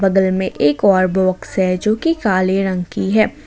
बगल मैं एक बार बॉक्स है जो कि काले रंग की है।